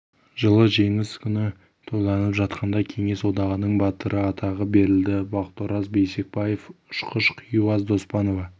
жылы жеңіс күні тойланып жатқанда кеңес одағының батыры атағы берілді бақтыораз бейсекбаев ұшқыш хиуаз доспанова